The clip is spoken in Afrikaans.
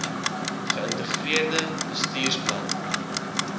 ge ïntegreerde bestuursplanne